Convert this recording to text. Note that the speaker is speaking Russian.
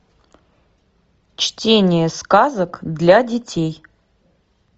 чтение сказок для детей